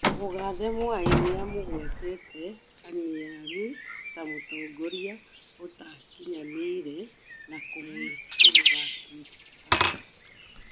Mũgathe Mwai nĩamũgwetete Kaniarũ ta mũtongorĩa utakĩnyanĩre na kũmwĩkĩrĩra mĩkana